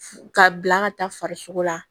Ka bila ka taa farisogo la